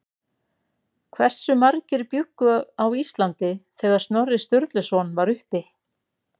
Hversu margir bjuggu á Íslandi þegar Snorri Sturluson var uppi?